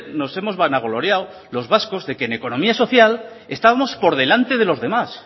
nos hemos vanagloriado los vascos de que en economía social estábamos por delante de los demás